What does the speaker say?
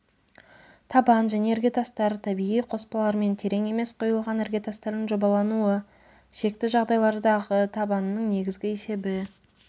табан және іргетастар табиғи қоспалармен терең емес құйылған іргетастардың жобалануы шекті жағдайлардағы табанының негізгі есебі